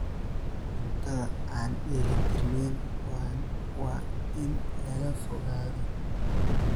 Cuntada aan dheeli tirnayn waa in laga fogaado.